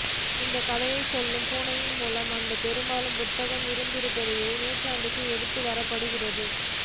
இந்தக் கதையைச் சொல்லும் பூனையின் மூலம் அந்தப் பெரும் புத்தகம் இருபத்தியோராம் நூற்றாண்டுக்கு எடுத்து வரப்படுகிறது